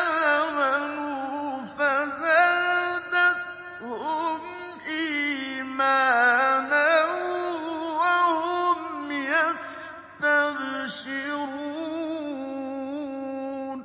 آمَنُوا فَزَادَتْهُمْ إِيمَانًا وَهُمْ يَسْتَبْشِرُونَ